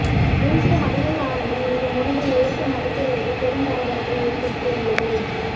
தேசிய மகளிர் ஆணையம் இந்த முடிவை ஏற்க மறுத்துள்ளது பெரும் பரபரப்பை ஏற்படுத்தியுள்ளது